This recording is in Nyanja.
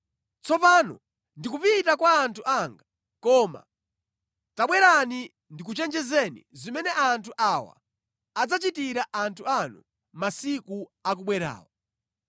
Tsopano ndikupita kwa anthu anga, koma tabwerani ndikuchenjezeni zimene anthu awa adzachitira anthu anu masiku akubwerawa.”